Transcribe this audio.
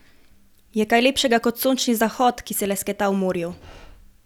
Je kaj lepšega kot sončni zahod, ki se lesketa v morju?